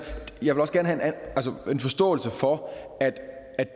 jeg vil også gerne have en forståelse for